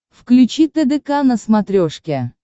включи тдк на смотрешке